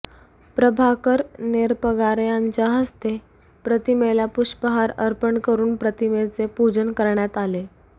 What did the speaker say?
प्रभाकर नेरपगार यांचा हस्ते प्रतिमेला पुष्पहार अर्पण करून प्रतिमेचे पूजन करण्यात आले